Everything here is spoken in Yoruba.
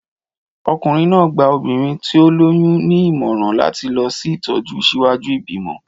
Ọkùnrin náà gba obìnrin tí ó lóyún ní ìmọ̀ràn láti lọ sí ìtọ́jú ṣíwájú ìbímọ.